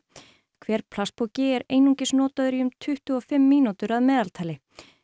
hver plastpoki er einungis notaður í um tuttugu og fimm mínútur að meðaltali